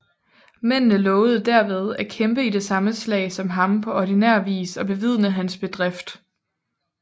Mændene lovede derved at kæmpe i det samme slag som ham på ordinær vis og bevidne hans bedrift